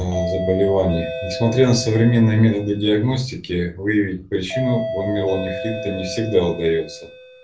а заболевание несмотря на современные методы диагностики выявить причины гломерулонефрита не всегда удаётся